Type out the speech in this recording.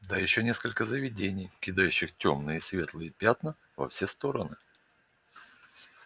да ещё несколько заведений кидающих тёмные и светлые пятна во все стороны